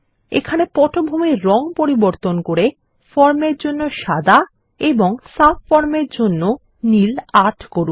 এখানে পটভূমির রঙ পরিবর্তন করে ফর্ম এর জন্য সাদা এবং সাবফর্ম এর জন্য নীল ৮ করুন